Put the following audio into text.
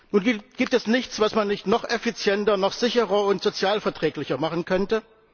Nun gibt es nichts, was man nicht noch effizienter, noch sicherer und sozialverträglicher machen könnte.